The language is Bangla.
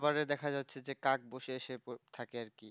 খাবারে দেখা যাচ্ছে যে কাক বসে সে থাকে আরকি